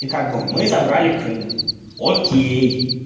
и как бы мы забрали крым окей